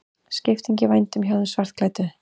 Skipting í vændum hjá þeim svartklæddu.